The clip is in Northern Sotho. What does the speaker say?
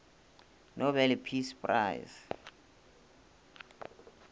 nobel peace prize